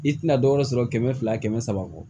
I tina dɔ wɛrɛ sɔrɔ kɛmɛ fila kɛmɛ saba kɔ